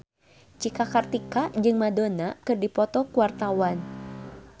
Cika Kartika jeung Madonna keur dipoto ku wartawan